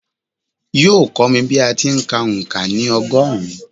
Yóò kọ́ mi bí a ti ń kà òǹkà ní ọgọ́rùn-ún